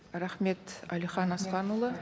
рахмет әлихан асқанұлы